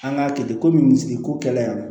An k'a kɛ ten komi misi ko kɛlen don